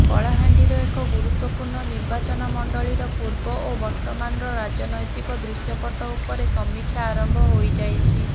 କଳାହାଣ୍ଡିର ଏକ ଗୁରୁତ୍ବପୂର୍ଣ୍ଣ ନିର୍ବାଚନ ମଣ୍ଡଳୀର ପୂର୍ବ ଓ ବର୍ତମାନର ରାଜନୈତିକ ଦୃଷ୍ୟପଟ ଉପରେ ସମିକ୍ଷା ଆରମ୍ଭ ହୋଇଯାଇଛି